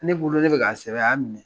Ne bolo ne bɛ k'a sɛbɛn a y'a minɛ.